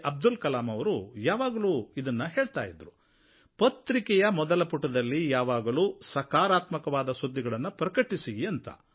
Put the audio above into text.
ಅಬ್ದುಲ್ ಕಲಾಮ್ ಅವರು ಯಾವಾಗಲೂ ಇದನ್ನು ಹೇಳ್ತಾ ಇದ್ದರು ಪತ್ರಿಕೆಯ ಮೊದಲ ಪುಟದಲ್ಲಿ ಯಾವಾಗಲೂ ಸಕಾರಾತ್ಮಕವಾದ ಸುದ್ದಿಗಳನ್ನು ಪ್ರಕಟಿಸಿ ಅಂತ